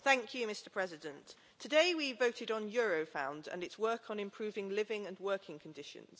Mr President, today we voted on Eurofound and its work on improving living and working conditions.